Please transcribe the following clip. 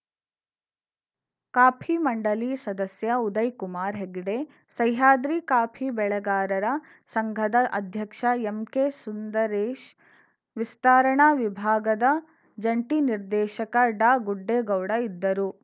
copy ಮಂಡಳಿ ಸದಸ್ಯ Udaykumar Hegde Sahyadri coffee ಬೆಳೆಗಾರರ ಸಂಘದ ಅಧ್ಯಕ್ಷ ಎಂಕೆ ಸುಂದರೇಶ್‌ ವಿಸ್ತರಣಾ ವಿಭಾಗದ ಜಂಟಿ ನಿರ್ದೇಶಕ ಡಾಗುಡ್ಡೇಗೌಡ ಇದ್ದರು